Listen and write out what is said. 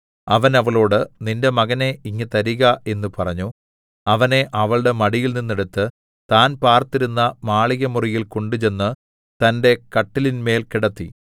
അവൻ അവളോട് നിന്റെ മകനെ ഇങ്ങ് തരിക എന്ന് പറഞ്ഞു അവനെ അവളുടെ മടിയിൽനിന്നെടുത്ത് താൻ പാർത്തിരുന്ന മാളികമുറിയിൽ കൊണ്ടുചെന്ന് തന്റെ കട്ടിലിന്മേൽ കിടത്തി